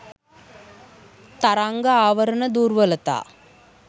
තරංග ආවරණ දුර්වලතා